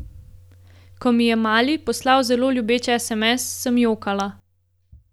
Ko mi je Mali poslal zelo ljubeč sms, sem jokala.